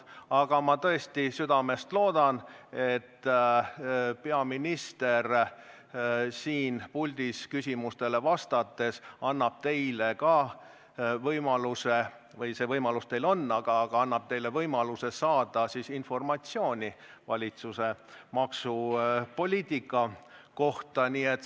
Aga ma tõesti südamest loodan, et peaminister siin puldis küsimustele vastates annab teile võimaluse saada informatsiooni valitsuse maksupoliitika kohta.